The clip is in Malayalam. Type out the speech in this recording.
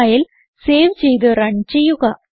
ഫയൽ സേവ് ചെയ്ത് റൺ ചെയ്യുക